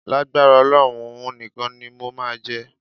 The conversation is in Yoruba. Lágbára Ọlọ́run, òun nìkan ni mo máa jẹ.